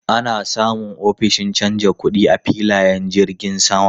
Ana samun ofishin canja kuɗi a filayen jirgin sama.